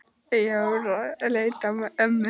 Jóra leit á ömmu.